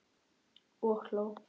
Og hló.